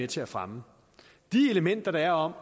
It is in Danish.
til at fremme de elementer der er om